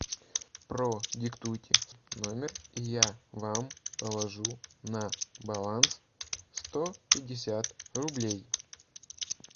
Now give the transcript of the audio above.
продиктуйте номер и я вам положу на баланс сто пятьдесят рублей